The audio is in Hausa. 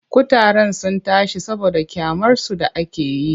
Kutaren sun tashi saboda ƙyamarsu da ake yi.